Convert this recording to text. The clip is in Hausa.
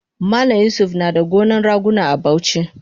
Malam yusuf nada gonan raguna a Bauchi